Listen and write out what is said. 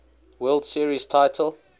world series title